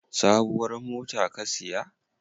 Sabuwar mota ka siya?